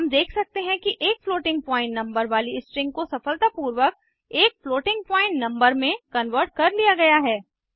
हम देख सकते हैं कि एक फ्लोटिंग पॉइंट नंबर वाली स्ट्रिंग को सफलतापूर्वक एक फ्लोटिंग पॉइंट नंबर में कन्वर्ट कर लिया गया है